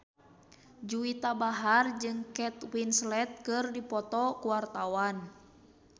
Juwita Bahar jeung Kate Winslet keur dipoto ku wartawan